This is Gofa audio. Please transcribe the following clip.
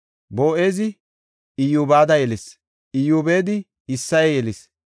Boo7ezi Iyyobeda yelis; Iyyobedi Isseye yelis.